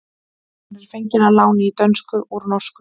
Hún er fengin að láni í dönsku úr norsku.